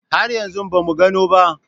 Har yanzu ba mu gano ba.